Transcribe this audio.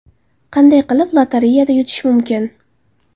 Qanday qilib lotereyada yutish mumkin?